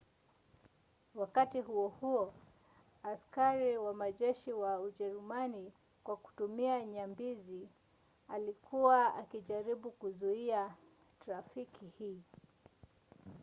wakati huo huo askari wa majeshi ya ujerumani kwa kutumia nyambizi yalikuwa yakijaribu kuzuia trafiki hii